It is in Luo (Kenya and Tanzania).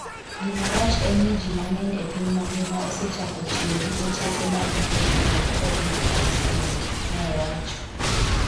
Gima rach en ni ji mang'eny e piny mangima osechako tiyo gi otese mag wuoth mar Covid Vaccine", ne owacho.